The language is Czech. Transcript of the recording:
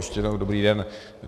Ještě jednou dobrý den.